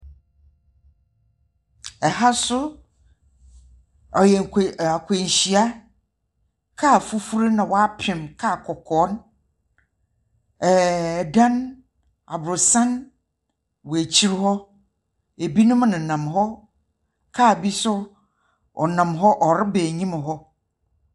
Aha nso ɔyɛ akwanhyia . Car fufu na woapim car kɔkɔɔ no. Ɛdan aborosan wɔ akyire hɔ. Ebinom ne nam hɔ. Car bi nso ɔnam hɔ ɔreba anim hɔ.